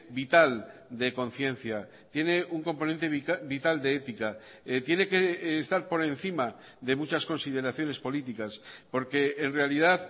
vital de conciencia tiene un componente vital de ética tiene que estar por encima de muchas consideraciones políticas porque en realidad